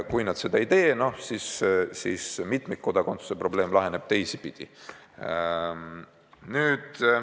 Kui nad seda ei tee, siis mitmikkodakondsuse probleem laheneb teisipidi.